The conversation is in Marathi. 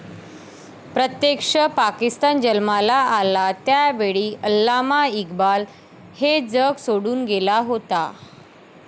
प्रत्यक्ष पाकिस्तान जन्माला आला, त्यावेळी अल्लामा इक्बाल हे जग सोडून गेला होता.